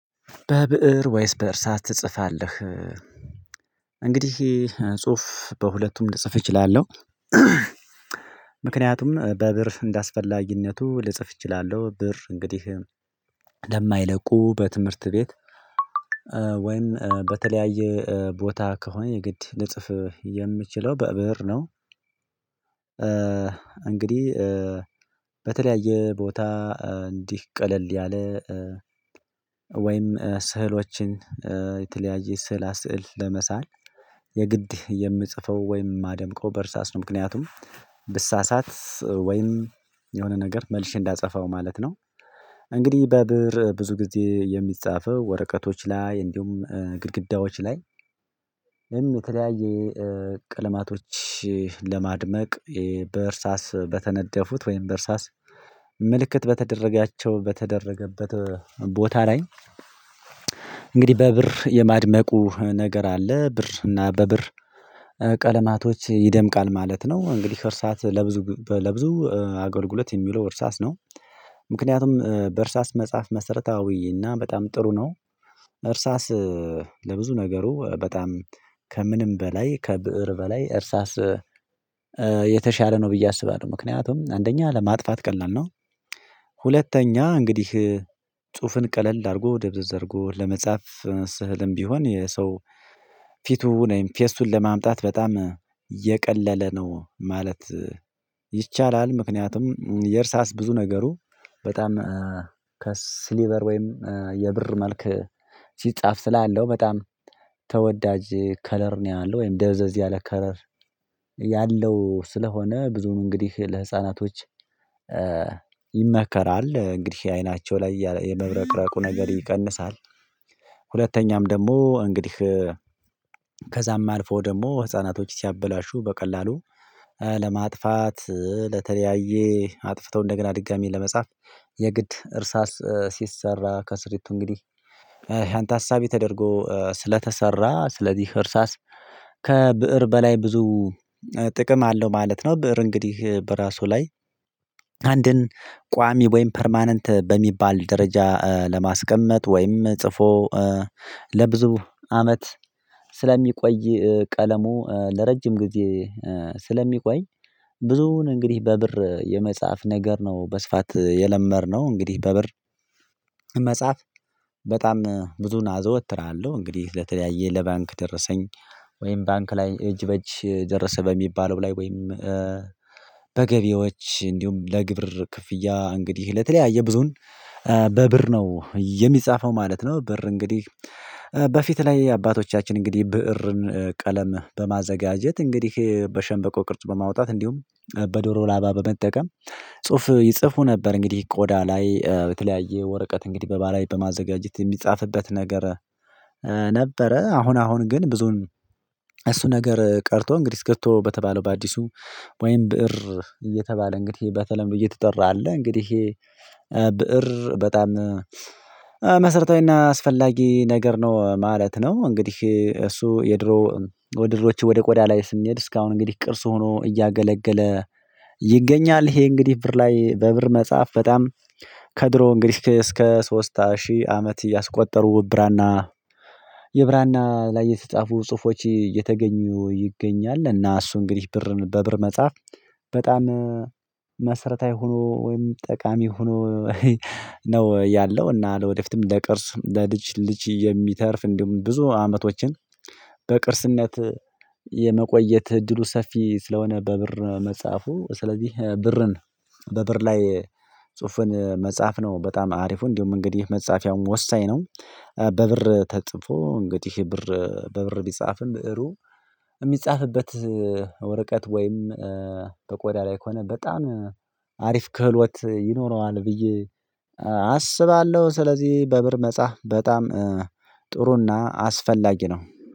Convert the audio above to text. በብእር ወይስ በእርሳት ትጽፋለህ? እንግዲህ ጽሁፍ በሁለቱም ልጽፍ እችላለሁ ምክንያቱም በብር እንዳስፈላጊነቱ ልጽፍ እችላለሁ። ብር እንግዲህ ለማይለቁ በትምህርት ቤት ወይም በተለያየ ቦታ ከሆነ የግድ ልጽፍ የምችለው በብር ነው። እንግዲህ በተለያየ ቦታ እንዲህ ቀለል ያለ ወይም ስህሎችን የተለያየ ስዕላ ስዕል ለመሳል የግድ የምጽፈው ወይም የማደምቀው በእርሳስ ነው። ምክንያቱም ብሳሳት ወይም የሆነ ነገር መልሽ እንዳጸፈው ማለት ነው። እንግዲህ በብር ብዙ ጊዜ የሚጻፈው ወረቀቶች ላይ እንዲሁም ግድግዳዎች ላይ በቀልማቶች ለማድመቅ በእርሳስ በተነደፉት ወይም በእርሳስ ምልክት በተደረጋቸው በተደረገበት ቦታ ላይ እንግዲህ በብር የማድመቁ ነገር አለ ብር እና በብር ቀለማቶች ይደምቃል ማለት ነው። እንግዲህ እርሳት ለብዙ ለብዙ አገልግሎት የሚለው እርሳስ ነው። ምክንያቱም በእርሳስ መጽሐፍ መሰረታዊ እና በጣም ጥሩ ነው እርሳስ ለብዙ ነገሩ በጣም ከምንም በላይ ከብእር በላይ እርሳስ የተሻለ ነው ብዬ አስባለሁ። ምክንያቱም አንደኛ ለማጥፋት ቀላል ነው ሁለተኛ እንግዲህ ጽሁፍን ቀለል አድርጎ ደብዘዝ አድርጎ ለመጻፍ ስህልም ቢሆን የሰው ፊቱ ወይም ፌስቱን ለማምጣት በጣም የቀለለ ነው። ማለት ይቻላል። ምክንያቱም የእርሳስ ብዙ ነገሩ በጣም ከስሊበር ወይም የብር መልክ ሲጻፍ ትላለህ በጣም ተወዳጅ ከለር ነው ያለው ወይም ደዘዝ ያለ ከለር ያለው ስለሆነ ብዙ እንግዲህ ለህፃናቶች ይመከራል እንግዲህ አይናቸው ላይ የመብረቅረቁ ነገር ይቀንሳል። ደግሞ እንግዲህ ከዛም አልፎ ደግሞ ህፃናቶች ሲያበላሹ በቀላሉ ለማጥፋት ለተለያየ አጥፍተው እንደገና ድጋሚ ለመጻፍ የግድ እርሳስ ሲሰራ ከስሪቱ እንግዲህ አንተ ሀሳቤ ተደርጎ ስለተሰራ ስለዚህ እርሳስ ከብእር በላይ ብዙ ጥቅም አለው ማለት ነው። ብእር እንግዲህ በራሱ ላይ ቋሚ ወይም ፐርማነንት በሚባል ደረጃ ለማስቀመጥ ወይም ጽፎ ለብዙ አመት ስለሚቆይ ቀለሙ ለረጅም ጊዜ ስለሚቆይ ብዙውን እንግዲህ በብር የመጽሐፍ ነገር ነው። በስፋት የለመርነው እንግዲህ በብር መጽሐፍ በጣም ብዙን አዘወትራለሁ። እንግዲህ ለተለያየ ለባንክ ደረሰኝ ወይም ባንክ ላይ እጅ በእጅ ደረሰ በሚባለው ላይ ወይም በገቢዎች እንዲሁም ለግብር ክፍያ እንግዲህ ለተለያየ ብዙን በብር ነው የሚጻፈው ማለት ነው ብር እንግዲህ በፊት ላይ አባቶቻችን እንግዲህ ብእርን ቀለም በማዘጋጀት እንግዲህ በሸንበቆ ቅርጽ በማውጣት እንዲሁም በዶሮ ላባ በመጠቀም ጽሁፍ ይጽፉ ነበር። እንግዲህ ቆዳ ላይ የተለያየ ወረቀት እንግዲህ በባላይ በማዘጋጀት የሚጻፍበት ነገር ነበረ። አሁን አሁን ግን ብዙን እሱ ነገር ቀርቶ እንግዲህ እስከቶ በተባለው በአዲሱ ወይም ብእር እየተባለ እንግዲህ በተለይም ብዬ ትጠራለህ እንግዲህ ይሄ ብእር በጣም መሰረታዊና አስፈላጊ ነገር ነው ማለት ነው። እንግዲህ እሱ የድሮ ወደ ድሮች ወደ ቆዳ ላይ ስሜድ እስካሁን እንግዲህ ቅርስ ሆኖ እያገለገለ ይገኛል። ይሄ እንግዲህ ብር ላይ በብር መጽሐፍ በጣም ከድሮ እንግዲህ እስከ ሶስት ሺህ አመት እያስቆጠሩ ብራና የብራና ላይ የተጻፉ ጽሁፎች እየተገኙ ይገኛል። እና እሱ እንግዲህ ብር በብር መጻፍ በጣም መሰረታዊ ሆኖ ወይም ጠቃሚ ሆኖ ነው ያለው። እና ወደፊትም ለቅርስ ለልጅ ልጅ የሚተርፍ እንደውም ብዙ አመቶችን በቅርስነት የመቆየት እድሉ ሰፊ ስለሆነ በብር መጽሐፉ ስለዚህ ብርን በብር ላይ ጽሁፍን መጽሐፍ ነው በጣም አሪፉ እንዲሁ እንደውም እንግዲህ መጻፊያውም ወሳኝ ነው በብር ተጽፎ እንግዲህ ብር በብር ቢጻፍም ብእሩ የሚጻፍበት ወረቀት ወይም በቆዳ ላይ ከሆነ በጣም አሪፍ ክህሎት ይኖረዋል ብዬ አስባለሁ ስለዚህ በብር መጻህ በጣም ጥሩ እና አስፈላጊ ነው።